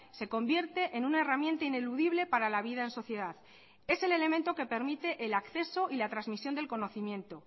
se convierte en una herramienta ineludible para la vida en sociedad es el elemento que permite el acceso y la transmisión del conocimiento